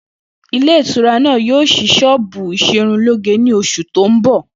Ilé ìtura náà yóò s̩í s̩ó̩ò̩bù ìs̩erunlóge ní os̩ù tó ń bò̩